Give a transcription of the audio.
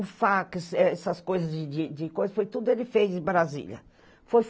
O fax, essas coisas de de de coisa, foi tudo ele fez em Brasília. Foi